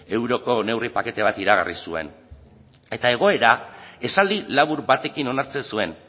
euroko neurri pakete bat iragarri zuen eta egoera esaldi labur batekin onartzen zuen